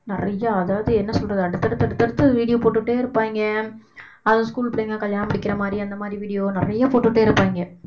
நிறையா அதாவது என்ன சொல்றது அடுத்தடுத்த அடுத்தடுத்த video போட்டுட்டே இருப்பாயிங்க அதுவும் school பிள்ளைங்க கல்யாணம் முடிக்கிற மாதிரி அந்த மாதிரி video நிறைய போட்டுட்டே இருப்பாங்க.